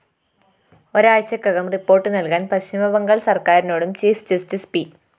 ഒരാഴ്ചയ്ക്കകം report നല്‍കാന്‍ പശ്ചിമബംഗാള്‍ സര്‍ക്കാരിനോടും chief justice P